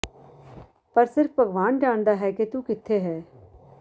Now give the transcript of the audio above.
ਪਰ ਸਿਰਫ ਭਗਵਾਨ ਜਾਣਦਾ ਹੈ ਕਿ ਤੂੰ ਕਿੱਥੇ ਹੈ